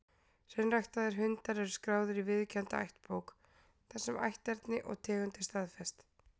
Hreinræktaðir hundar eru skráðir í viðurkennda ættbók, þar sem ætterni og tegund er staðfest.